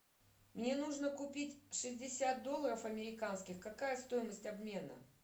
мне нужно купить шестьдесят долларов американских какая стоимость обмена